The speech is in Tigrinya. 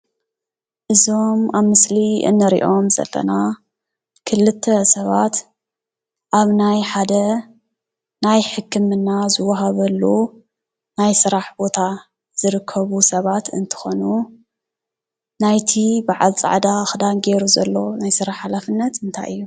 እዞም ኣብ ምስሊ ንሪኦም ዘለና ክልተ ሰባት ኣብ ናይ ሓደ ናይ ሕክምና ዝወሃበሉ ናይ ስራሕ ቦታ ዝርከቡ ሰባት እንትኮኑ ናይቲ በዓል ፃዕዳ ክዳን ጌሩ ዘሎ ናይ ስራሕ ሓላፍነት እንታይ እዩ ?